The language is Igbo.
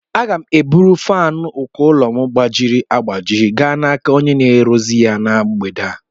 Aga m eburu fánu uko ụlọ gbajiri agbaji gaa n'aka onye na-arụzi ya na mgbede a